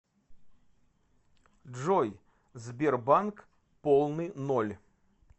джой сбербанк полный ноль